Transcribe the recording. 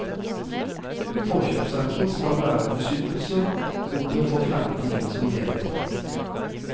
Forkjøpsretten skal være en beskyttelse mot å få fremmede inn som medeiere.